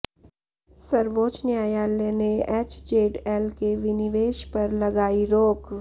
सर्वोच्च न्यायालय ने एचजेडएल के विनिवेश पर लगाई रोक